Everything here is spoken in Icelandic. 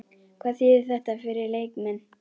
Hvað þýðir þetta fyrir leikmenn?